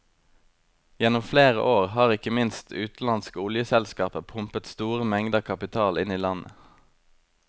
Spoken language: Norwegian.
Gjennom flere år har ikke minst utenlandske oljeselskaper pumpet store mengder kapital inn i landet.